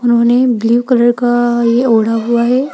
उन्होंने blue colour का ये ओढ़ा हुआ है।